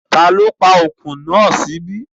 Ta ló pa ọkùn náà sí ibí?